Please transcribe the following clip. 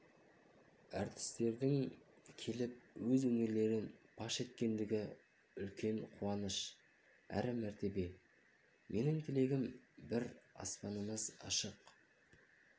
әртістердің келіп өз өнерлерін паш еткені үлкен қуаныш әрі мәртебе менің тілегім бір аспанымыз ашық